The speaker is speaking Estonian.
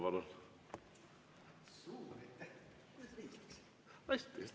Palun!